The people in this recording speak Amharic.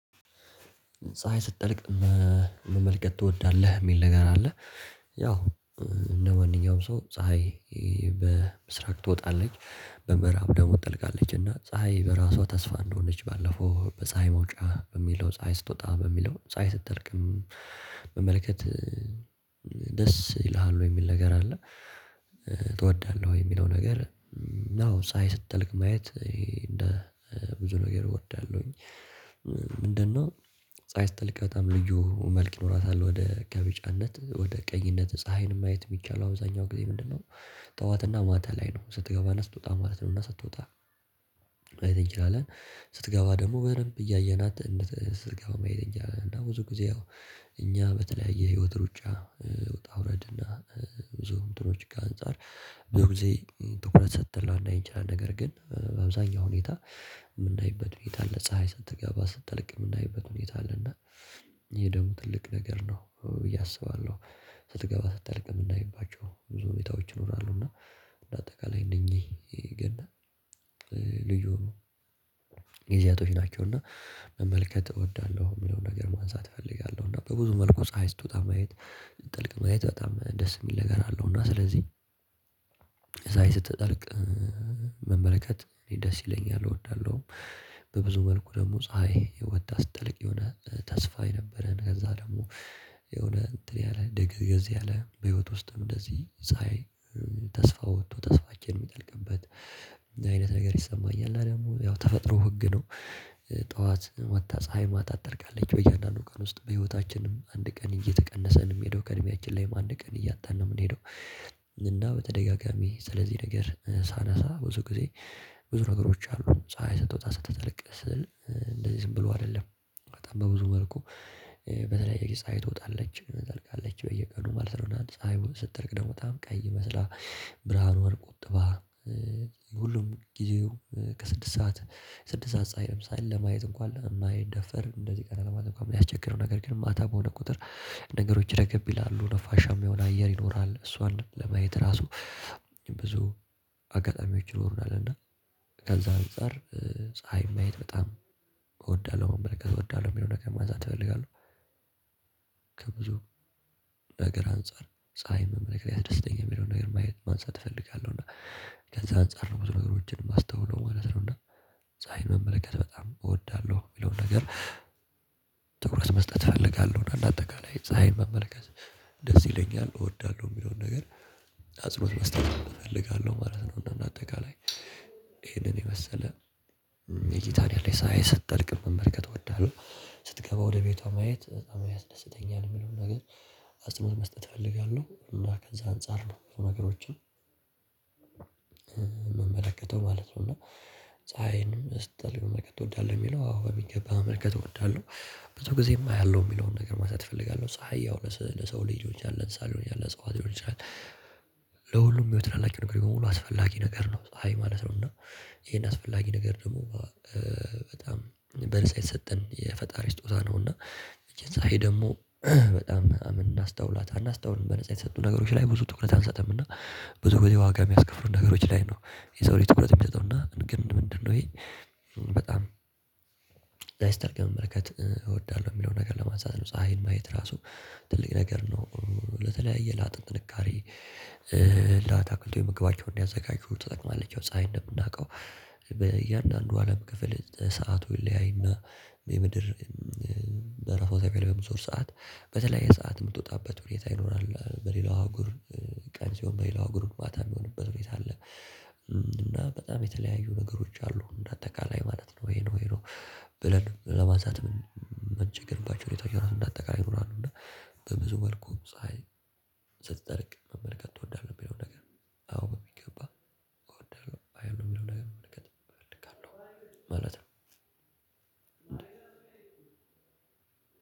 ፀሀይ ስትጠልቅ መመልከት ትወዳለህ የሚል ነገር አለ ያው እንደ ማንኛውም ሰው ፀሀይ በምስራቅ ትወጣለች በምዕራብ ደግሞ ትጠልቃለች እና ፀሀይ በራሷ ተስፋ እንደሆነች ባለፈው በፀሀይ መውጫ በሚለው ፀሀይ ስትወጣ በሚለው ፀሀይ ስጠልቅም መመልከት ደስ ይልሃል ወይ የሚል ነገር አለ ትወዳለህ ወይ የሚለው ነገር ናው ሳይ ስትጠልቅ ማየት እንደ ብዙ ነገር እወዳለሁኝ ምንድነው ፀሀይ ስትልቅ በጣም ልዩ መልክ ይኖራታል ወደ ከቢጫነት ወደ ቀይነት ፀሀይን ማየት የሚቻል አብዛኛው ጊዜ ምንድነው ጠዋትና ማታ ላይ ነው ስትገባ ስትወጣ ማለት ነውና ስትወጣ አይተኝላለን ስትገባ ደግሞ በደንብ እያየናት እንድት እንድትዝግበው መሄድ እንጃ እና ብዙ ጊዜ እኛ በተለያየ ህይወት ሩጫ ወጣ ውረድ እና ብዙ እንትኖች ጋር አንፃር ብዙ ጊዜ ትኩረት ሰጥተን ላናይ እንችላለን ነገር ግን በአብዛኛው ሁኔታ የምናይበት ሁኔታ አለ ፀሀይ ስትገባ ስትጠልቅ የምናይበት ሁኔታ አለና ይህ ደሞ ትልቅ ነገር ነው ብዬ አስባለሁ ስትገባ ስትጠልቅ የምናይባቸው ብዙ ሁኔታዎች ይኖራሉ። እና እንደ አጠቃላይ እነኚህ ልዩ ጊዜያቶች ናቸው። እና መመልከት እወዳለሁ የሚለውን ነገር ማንሳት እፈልጋለሁ። እና በብዙ መልኩ ፀሀይ ስትወጣ ማየት ስትጠልቅ ማየት በጣም ደስ የሚል ነገር አለው። እና ስለዚህ ፀሀይ ስትጠልቅ መመልከት ደስ ይለኛል እወዳለሁ። በብዙ መልኩ ደግሞ ፀሀይ ወጥታ ስትጠልቅ የሆነ ተስፋ የነበረን ከዛ ደግሞ የሆነ እንትን ያለ ደንገዝገዝ ያለ በህይወት ውስጥም እንደዚህ ፀሀይ ተስፋ ወጥቶ ተስፋችን የሚጠልቅበት አይነት ነገር ይሰማኛል። እና ደግሞ ያው ተፈጥሮ ህግ ነው። ጠዋት ወጥታ ፀሀይ ማታ ትጠልቃለች። በየአንዳንዱ ቀን ውስጥ በህይወታችንም አንድ ቀን እየተቀነሰ ነው የሚሄደው ከእድሜያችን ላይም አንድ ቀን እያጣን ነው የምንሄደው። እና በተደጋጋሚ ስለዚህ ነገር ሳነሳ ብዙ ጊዜ ብዙ ነገሮች አሉ። ፀሀይ ስትወጣ ስትጠልቅ ስትል እንደዚህ ዝም ብሎ አይደለም። በጣም በብዙ መልኩ በተለያየ ጊዜ ፀሀይ ትወጣለች ትጠልቃለች በየቀኑ ማለት ነው። የሆነ ፀሀዩን ስትጠልቅ ደግሞ በጣም ቀይ መስላ ብርሃኗን ቆጥባ ሁሉም ጊዜው ከስድስት ሰዓት ስድስት ሰዓት ፀሀይ ለምሳሌ ለማየት እንኳን የማይደፈር እንደዚህ ቀና ለማለት እንኳን የሚያስቸግር ነው። ነገር ግን ማታ በሆነ ቁጥር ነገሮች ረግብ ይላሉ። ነፋሻ። ማ የሆነ አየር ይኖራል እሷን ለማየት ራሱ ብዙ አጋጣሚዎች ይኖሩናል። እና ከዛ አንፃር ፀሀይ ማየት በጣም እወዳለሁ መመልከት እወዳለሁ የሚለው ነገር ማንሳት እፈልጋለሁ ከብዙ ነገር አንፃር ፀሀይ ምን ነገር ያስደስተኛል የሚለውን ነገር ማየት ማንሳት እፈልጋለሁ። እና ከዛ አንፃር ነው ብዙ ነገሮችን የማስተውለው ማለት ነው። እና ፀሀይ መመልከት በጣም እወዳለሁ፤ የሚለውን ነገር ትኩረት መስጠት እፈልጋለሁ። እና አጠቃላይ ፀሀይ መመልከት ደስ ይለኛል፤ እወዳለሁ የሚለውን ነገር አጽኖት መስጠት እፈልጋለሁ ማለት ነው። እና አጠቃላይ ይሄንን የመሰለ እይታ ነው ያለኝ። ፀሀይ ስትጠልቅ መመልከት እወዳለሁ። ስትገባ ወደ ቤቷ ማየት በጣም ያስደስተኛል የሚለውን ነገር አጽንኦት መስጠት እፈልጋለሁ። እና ከዛ አንፃር ነው ነገሮችን ምመለከተው ማለት ነው። እና ፀሀይንም ስትጠልይ መመልከት ትወዳለህ? የሚለው አዎ በሚገባ መመልከት እወዳለሁ፤ ብዙ ጊዜም አያለሁ የሚለውን ነገር ማንሳት እፈልጋለሁ። ፀሀይ ያው ለሰው ልጅ ሊሆን ይችላል፣ ለእንስሳት ሊሆን ይችላል፣ ለእፀዋት ሊሆን ይችላል ለሁሉም ህይወት ላላቸው ነገሮች በሙሉ አስፈላጊ ነገር ነው ፀሀይ ማለት ነው። እና ይሄን አስፈላጊ ነገር ደግሞ በጣም በነፃ የተሰጠን የፈጣሪ ስጦታ ነው። እና ይቺን ፀሀይ ደግሞ በጣም አናስተውላታለን እናስተውልም፤ በነፃ የተሰጡን ነገሮች ላይ ብዙ ትኩረት አንሰጥም። እና ብዙ ጊዜ ዋጋ የሚያስከፍሉ ነገሮች ላይ ነው የሰው ላይ ትኩረት የሚሰጠው እና ግን ምንድነው ይሄ በጣም ፀሀይ ስትጠልቅ መመልከት እወዳለሁ የሚለውን ነገር ለማንሳት ነው። ፀሀይን ማየት ራሱ ትልቅ ነገር ነው። ለተለያየ ላጥንት ጥንካሬ ለአታክቶች ምግባቸውን እንዲያዘጋጁ ትጠቅማለች። ፀሀይ እንደምናውቀው በእያንዳንዱ አለም ክፍል ሰዓቱ ይለያይና የምድር በራሷ ዛቢያ ላይ በምትዞር ሰዓት በተለያየ ሰዓት የምትወጣበት ሁኔታ ይኖራል፤ በሌላው አህጉር ቀን ሲሆን በሌላው አህጉር ማታ የሚሆንበት ሁኔታ አለ። እና በጣም የተለያዩ ነገሮች አሉ እንደ አጠቃላይ ማለት ነው። ይሄ ነው ይሄ ነው ብለን ለማንሳት ምንቸገርባቸው ሁኔታዎች ራሱ እንደ አጠቃላይ ይኖራሉ። እና በብዙ መልኩ ፀሀይ ስትጠልቅ መመልከት ትወዳለህ? የሚለው ነገር አዎ በሚገባ እወዳለሁ፤ አያለሁ ወይም ደግሞ መመልከት እፈልጋለሁ ማለት ነው።